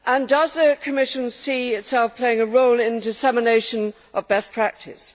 Does the Commission see itself playing a role in the dissemination of best practice?